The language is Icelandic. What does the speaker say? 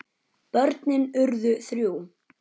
Börnin urðu þrjú.